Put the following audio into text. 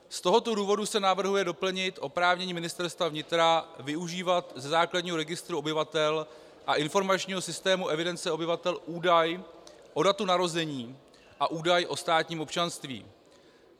Z toho důvodu se navrhuje doplnit oprávnění Ministerstva vnitra využívat ze základního registru obyvatel a informačního systému evidence obyvatel údaj o datu narození a údaj o státním občanství.